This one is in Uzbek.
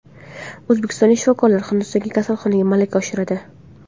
O‘zbekistonlik shifokorlar Hindistondagi kasalxonada malaka oshiradi.